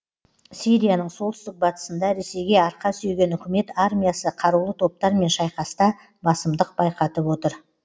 сирияның солтүстік батысында ресейге арқа сүйеген үкімет армиясы қарулы топтармен шайқаста басымдық байқатып отыр